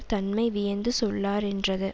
தன்மை வியந்து சொல்லா ரென்றது